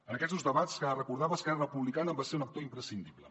en aquests dos debats que recordava esquerra republicana en va ser un actor imprescindible